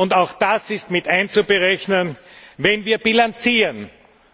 Und auch das ist mit einzuberechnen, wenn wir bilanzieren